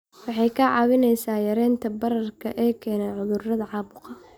Waxay kaa caawinaysaa yaraynta bararka ay keenaan cudurrada caabuqa.